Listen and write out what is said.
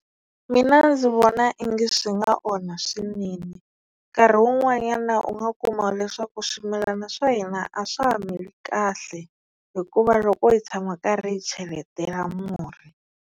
Mina ndzi vona ingi swi nga onha swinene. Nkarhi wun'wanyana u nga kuma leswaku swimilana swa hina a swa ha mili kahle hikuva loko hi tshama karhi hi cheletela murhi.